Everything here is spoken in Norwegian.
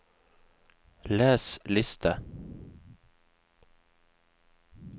les liste